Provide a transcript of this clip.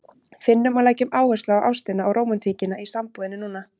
Finnum og leggjum áherslu á ástina og rómantíkina í sambúðinni núna!